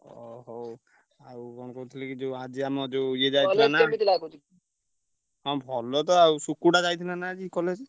ଅ ହଉ ଆଉ କଣ କହୁଥିଲି କି ଯୋଉ ଆଜି ଆମ ଯୋଉ ଇଏ ଯାଇଥିଲା ନା ହଁ ଭଲ ତ ଆଉ ସୁକୁଟା ଯାଇଥିଲା ନା ଆଜି college ।